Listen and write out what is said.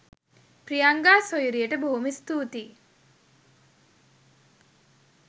ප්‍රියංගා සොයුරියට බොහොම ස්තූතියි.